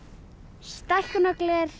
stækkunargler